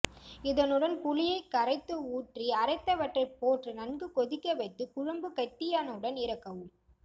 இதனுடன் புளியை கரைத்து ஊற்றி அரைத்தவற்றை போட்டு நன்கு கொதிக்க வைத்து குழம்பு கெட்டியானவுடன் இறக்கவும்